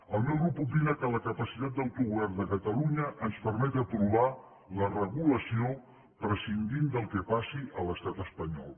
el meu grup opina que la capacitat d’autogovern de catalunya ens permet aprovar la regulació prescindint del que passi a l’estat espanyol